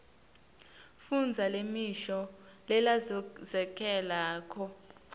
fundza lemisho lelandzelako